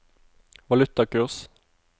valutakurs